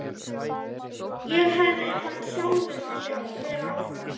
En hefði hann sjálfur viljað vera áfram?